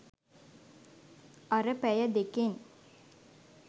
අර පැය දෙකෙන්